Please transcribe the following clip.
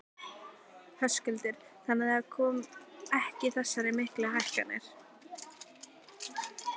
Höskuldur: Þannig að það komi ekki þessar miklu hækkanir?